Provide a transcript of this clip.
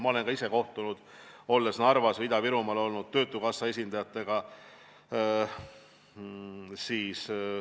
Ma olen kohtunud, olles Narvas või Ida-Virumaal, töötukassa esindajatega.